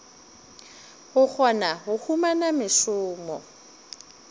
go kgona go humana mešomo